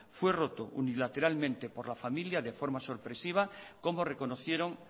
fue roto unilateralmente por la familia de forma sorpresiva como reconocieron